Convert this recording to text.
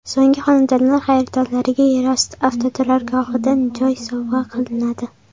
So‘nggi xonadonlar xaridorlariga yerosti avtoturargohidan joy sovg‘a qilinadi!